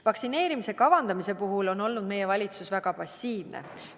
Vaktsineerimise kavandamise puhul on olnud meie valitsus väga passiivne.